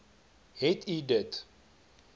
het u dit